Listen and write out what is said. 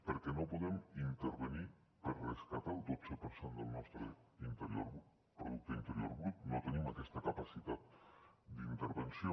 perquè no podem intervenir per rescatar el dotze per cent del nostre producte interior brut no tenim aquesta capacitat d’intervenció